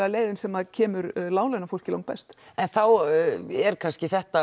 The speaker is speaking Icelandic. leiðin sem kemur láglaunafólki lang best en þá er kannski þetta